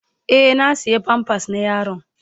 Eh, na siya "pampers " na yaron.